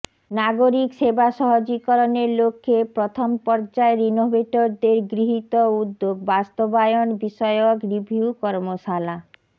নাগরিক সেবা সহজীকরণের লক্ষ্যে প্রথম পর্যায়ের ইনোভেটরদের গৃহীত উদ্যোগ বাস্তবায়ন বিষয়ক রিভিউ কর্মশালা